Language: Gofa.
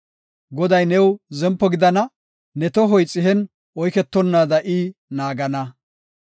Goday new zempo gidana; ne tohoy xihen oyketonnaada I naagana.